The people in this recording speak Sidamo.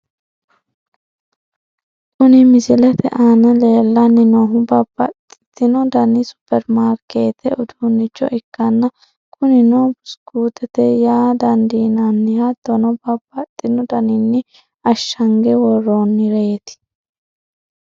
Kuni misilete aana leellanni noohu babbaxino dani superimaarkeettete uduunnicho ikkanna, kunino buskuutete yaa dandiinanni, hattono babbaxino daninni ashshange worroonnireeti .